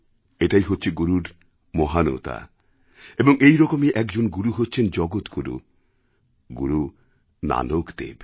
এটাই হচ্ছে গুরুর মহানতা এবং এরকমই একজন গুরু হচ্ছেন জগৎগুরু গুরু নানক দেব